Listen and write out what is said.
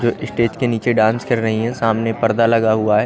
जो स्टेज के नीचे डांस कर रही हैं सामने परदा लगा हुआ है।